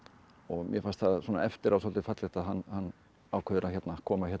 mér fannst það eftir á svolítið fallegt að hann ákveður að koma hérna í